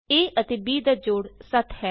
a ਅਤੇ b ਦਾ ਜੋੜ 7 ਹੈ